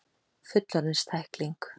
Fullorðins tækling.